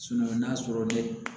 n'a sɔrɔ dɛ